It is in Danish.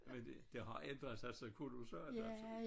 Men det det har ændret sig så kolossalt altså